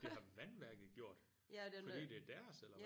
Det har vandværket gjort? Fordi det er deres eller hvad?